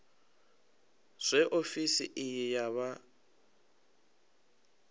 zwe ofisi iyi ya vha